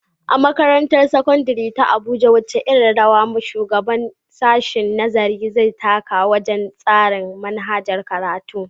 A Makarantar Sakandare ta Abuja, wace irin rawa shugaban sashen nazari zai taka wajen tsara manhajar karatu.